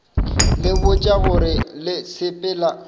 le botša gore le sepela